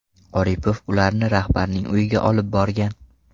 Oripov ularni rahbarning uyiga olib borgan.